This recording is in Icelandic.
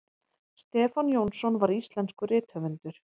stefán jónsson var íslenskur rithöfundur